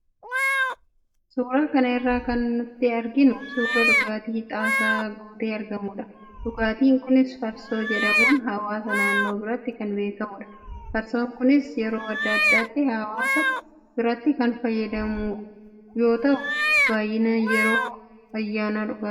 Suuraa kana irratti kan nuti arginu suuraa dhugaatii xaasaa guutee argamudha. Dhugaatiin kunis farsoo jedhamuun hawaasa naannoo biratti kan beekamudha. Farsoon kunis yeroo adda addaatti hawaasa biratti kan fayyadamamu yoo ta'u, baay'inaan yeroo ayyaanaa dhugama.